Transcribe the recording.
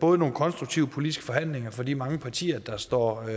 både nogle konstruktive politiske forhandlinger fra de mange partier der står